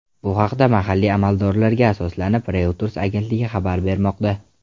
Bu haqda mahalliy amaldorlarga asoslanib, Reuters agentligi xabar bermoqda .